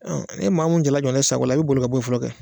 An ni maamu jala jamana in sago la i bɛ boli ka bɔ ye fɔlɔ kɛ.